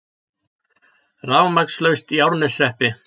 Rafmagnslaust í Árneshreppi